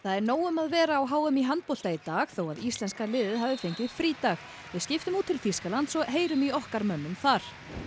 er nóg um að vera á h m í handbolta í dag þó að íslenska liðið hafi fengið frídag við skiptum út til Þýskalands og heyrum í okkar mönnum þar